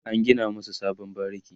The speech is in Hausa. an gina masu sabon bariki